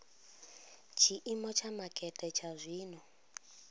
tshiimo tsha makete tsha zwino